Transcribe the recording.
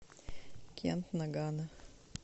кент нагано